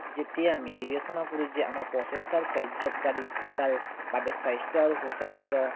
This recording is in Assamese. যেতিয়া আমি বিবেচনা কৰো যে আমাৰ প্ৰচেষ্টাৰ কাৰ্যকাৰীতাৰ বাবে স্বাস্থ্য় আৰু সু স্বাস্থ্য়